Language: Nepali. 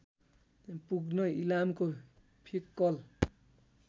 पुग्न इलामको फिक्कल